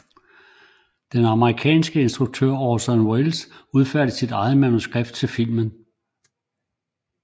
Den amerikanske instruktør Orson Welles udfærdigede sit eget manuskript til filmen